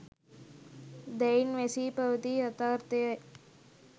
දැයින් වැසී පැවති යථාර්ථය යි